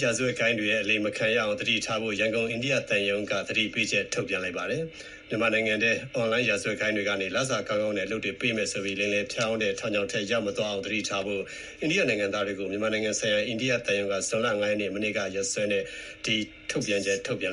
ရာဇဝတ်ဂိုဏ်းတွေရဲ့ အလိမ်မခံရအောင် သတိထားဖို့ ရန်ကုန် အိန္ဒိယသံရုံး သတိပေးချက်ထုတ်ပြန် မြန်မာနိုင်ငံအတွင်း အွန်လိုင်း ရာဇဝတ်ဂိုဏ်းတွေကနေ လစာကောင်းကောင်းနဲ့ အလုပ်တွေ ပေးမယ်ဆိုပြီး လိမ်လည်ဖျားယောင်းတဲ့ ထောင်ချောက်ထဲ ရောက်မသွားအောင် သတိထားဖို့ အိန္ဒိယနိုင်ငံသားတွေကို မြန်မာနိုင်ငံဆိုင်ရာ အိန္ဒိယ သံရုံးက ဇွန်လ ၅ ရက်၊ မနေ့က ရက်စွဲနဲ့ သတိပေးချက် ထုတ်ပြန်